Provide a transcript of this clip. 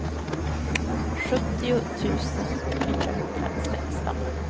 sjuttio tusen fyrahundrasexton